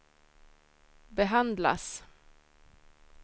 behandlas